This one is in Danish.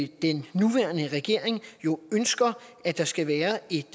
den nuværende regering jo ønsker at der skal være et